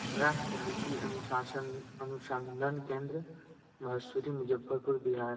राष्ट्र लीची अनुसासन अनुसंधन केंद्र महसूरी मुजफ़्फ़रपुर बिहार।